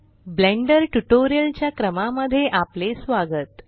blender tutorial च्या क्रमा मध्ये आपले स्वागत